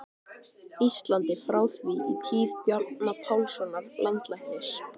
Íslandi, frá því í tíð Bjarna Pálssonar landlæknis.